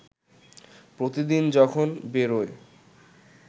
প্রতিদিন যখন বেরোয়